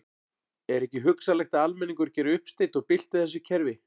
Er ekki hugsanlegt að almenningur geri uppsteyt og bylti þessu kerfi?